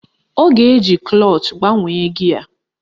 Ọ ga-eji klọch gbanwee gịe